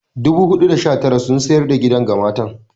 419 sun sayar da gidan ga matar.